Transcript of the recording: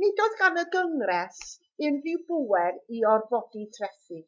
nid oedd gan y gyngres unrhyw bŵer i orfodi trethi